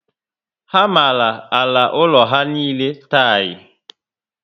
Ha mara àlà úlọ ha niile tiyi